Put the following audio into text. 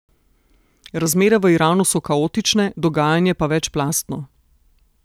Razmere v Iranu so kaotične, dogajanje pa večplastno.